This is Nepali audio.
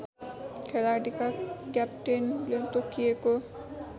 खेलाडीका क्याप्टेनले तोकिएको